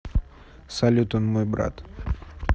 салют он мой брат